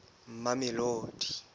mamelodi